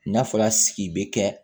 N'a fɔra sigi bɛ kɛ